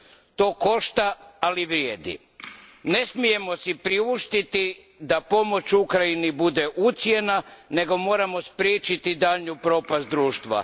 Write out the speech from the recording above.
To košta, ali vrijedi. Ne smijemo si priuštiti da pomoć Ukrajini bude ucjena, nego moramo spriječiti daljnju propast društva.